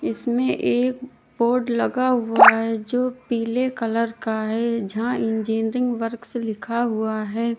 इसमें एक बोर्ड लगा हुआ है जो पीले कलर का है जहां इंजीनियरिंग वर्क्स लिखा हुआ है।